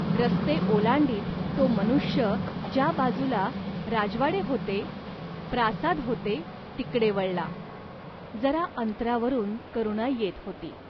रस्ते ओलांडीत तो मनुष्य ज्या बाजूला राजवाडे होते, प्रासाद होते तिकडे वळला. जरा अंतरावरून करुणा येत होती.